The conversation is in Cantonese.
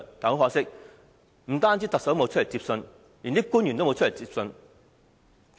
很可惜，不僅特首沒有出來接收，連官員也沒有出來。